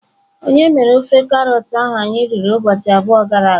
Onye mere ofe karọt ahụ anyị riri ụbọchị abụọ gara aga?